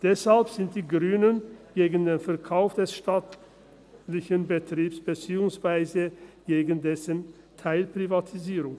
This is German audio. Deshalb sind die Grünen gegen den Verkauf des staatlichen Betriebs, beziehungsweise gegen dessen Teilprivatisierung.